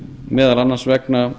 meðal annars vegna